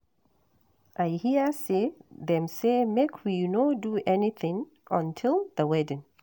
I hear say dem say make we no do anything until the wedding